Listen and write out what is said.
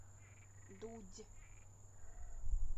дудь